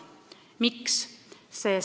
Miks?